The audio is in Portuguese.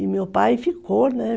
E meu pai ficou, né?